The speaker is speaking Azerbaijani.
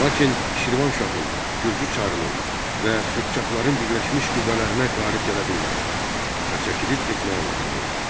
Lakin Şirvanşahın, Gürcü çarının və Qıpçaqların birləşmiş qüvvələrinə qalib gələ bilmədi və çəkilib getməyə məcbur oldu.